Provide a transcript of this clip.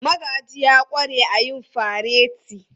Magaji ya ƙware a yin fareti.